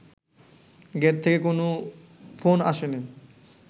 gate থেকে কোনো phone আসেনি